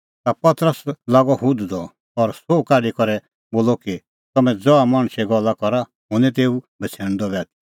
ता पतरस लागअ हुधदअ और सोह काढी करै बोलदअ कि तम्हैं ज़हा मणछे गल्ला करा हुंह निं तेऊ बछ़ैणदअ बी आथी